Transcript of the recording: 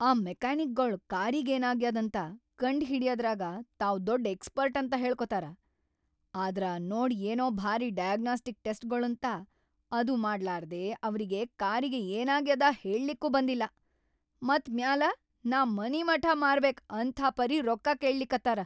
ಆ ಮೆಕ್ಯಾನಿಕಗೊಳು ಕಾರಿಗೇನಾಗ್ಯಾದಂತ ಕಂಡ್‌ ಹಿಡಿಯದರಾಗ ತಾವ್‌ ದೊಡ್‌ ಎಕ್ಸ್‌ಪರ್ಟ್‌ ಅಂತ ಹೇಳ್ಕೊತಾರ, ಆದ್ರ ನೋಡ್ ಏನೋ ಭಾರಿ ʼಡಯಾಗ್ನೋಸ್ಟಿಕ್‌ ಟೆಸ್ಟ್ʼ‌ಗೊಳಂತ, ಅದು ಮಾಡ್ಲಾರ್ದೇ ಅವ್ರಿಗಿ ಕಾರಿಗೆ ಏನಾಗ್ಯಾದ ಹೇಳ್ಲಿಕ್ನೂ ಬಂದಿಲ್ಲ. ಮತ್‌ ಮ್ಯಾಲ ನಾ ಮನಿಮಠಾ ಮಾರಬೇಕ್‌ ಅಂಥಾಪರಿ ರೊಕ್ಕಾ ಕೇಳ್ಳಿಕತ್ತಾರ.